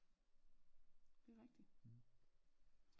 Det rigtigt